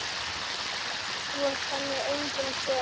Þú ert henni enginn sonur.